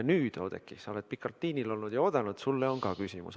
Nüüd, Oudekki, kes sa oled pikalt liinil olnud ja oodanud, sulle on ka küsimus.